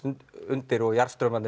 undir og